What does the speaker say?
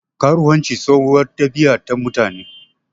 Karuwanci tsohuwar ɗabiya ta mutane.